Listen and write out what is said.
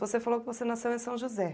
Você falou que você nasceu em São José.